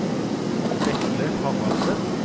Vetle Haraldsen